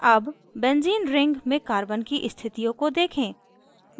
अब benzene ring benzene ring में carbon की स्थितियों को देखें